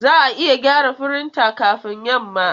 Za a iya gyara firinta kafin yamma?